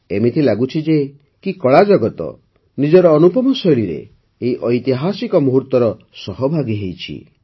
ଏମିତି ଲାଗୁଛି କି କଳାଜଗତ ନିଜର ଅନୁପମ ଶୈଳୀରେ ଏହି ଐତିହାସିକ ମୁହୂର୍ତ୍ତର ସହଭାଗୀ ହେଉଛି